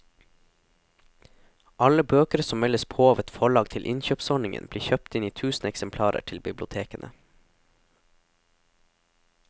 Alle bøker som meldes på av et forlag til innkjøpsordningen blir kjøpt inn i tusen eksemplarer til bibliotekene.